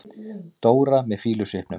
Dóra með fýlusvipnum.